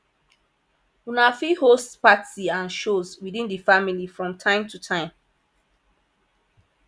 una fit host party and shows within di family from time to time